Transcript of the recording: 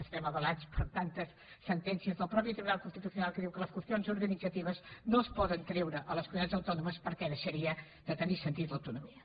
estem avalats per tantes sentències del mateix tribunal constitucional que diu que les qüestions organitzatives no es poden treure a les comunitats autònomes perquè deixaria de tenir sentit l’autonomia